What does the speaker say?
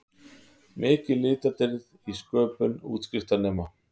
Mikil litadýrð í sköpun útskriftarnema